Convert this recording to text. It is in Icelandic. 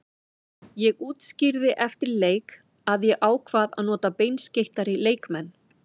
Ég útskýrði eftir leik að ég ákvað að nota beinskeyttari leikmenn.